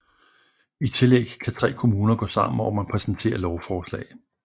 I tillæg kan tre kommuner gå sammen om at præsentere lovforslag